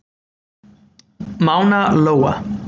Mána Lóa.